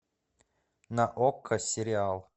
на окко сериал